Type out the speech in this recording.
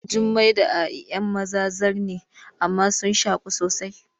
Jummai da A’i ‘yan maza zar ne amma sun shaku sosai.